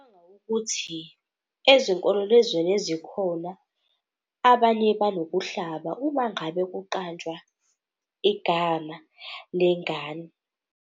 Ngicabanga ukuthi, ezinkolelezweni ezikhona abanye banokuhlaba uma ngabe kuqanjwa igama lengane.